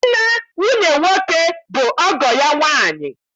Nne nwunye nwoke bụ ọgọ ya nwaanyị